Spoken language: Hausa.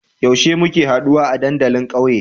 Yaushe muke haduwa a dandalin ƙauye?